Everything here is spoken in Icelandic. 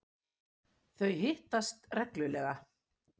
Þau hittast reglulega.